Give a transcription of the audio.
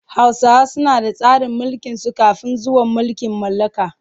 Hausawa suna da tsarin mulkinsu kafin zuwan mulkin mallaka.